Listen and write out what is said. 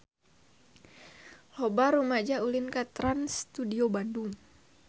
Loba rumaja ulin ka Trans Studio Bandung